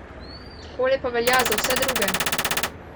Takole pa velja za vse druge.